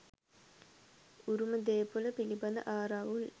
උරුම දේපොල පිළිබඳ ආරවුල්